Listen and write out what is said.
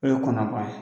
O ye kɔnabana ye